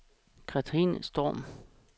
Cathrine Storm